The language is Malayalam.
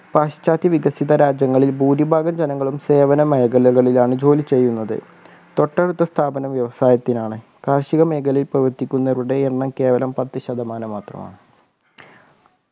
പാശ്ചാത്യ വികസിത രാജ്യങ്ങളിൽ ഭൂരിഭാഗം ജനങ്ങളും സേവന മേഖലകളിലാണ് ജോലി ചെയ്യുന്നത് തൊട്ടടുത്ത സ്ഥാപനം വ്യവസായത്തിനാണ് കാർഷിക മേഖലയിൽ പ്രവർത്തിക്കുന്നവരുടെ എണ്ണം കേവലം പത്തു ശതമാനം മാത്രമാണ്